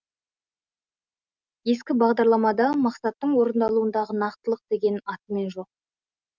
ескі бағдарламада мақсаттың орындалуындағы нақтылық деген атымен жоқ